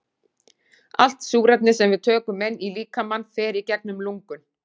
Allt súrefni sem við tökum inn í líkamann fer í gegnum lungun.